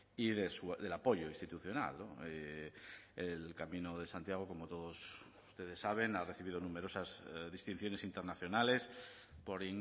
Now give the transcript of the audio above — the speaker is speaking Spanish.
y del apoyo institucional el camino de santiago como todos ustedes saben ha recibido numerosas distinciones internacionales por